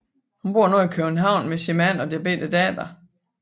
Hun bor nu i København med sin mand og deres lille datter